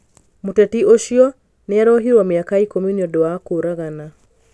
Mũteti ũcio nĩ arohirũo mĩaka ikũmi nĩ ũndũ wa kũũragana.